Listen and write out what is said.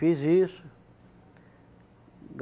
Fiz isso.